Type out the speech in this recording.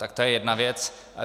Tak to je jedna věc.